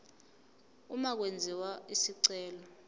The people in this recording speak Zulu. uma kwenziwa isicelo